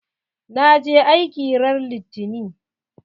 Na je aiki ran litani.